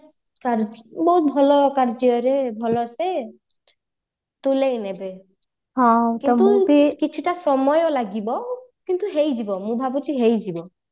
ବହୁତ ଭଲ କାର୍ଯ୍ୟରେ ଭଲ ସେ ତୁଲେଇନେବେ କିନ୍ତୁ କିଛିଟା ସମୟ ଲାଗିବ କିନ୍ତୁ ହେଇଯିବା ମୁଁ ଭାବୁଛି ହେଇଯିବ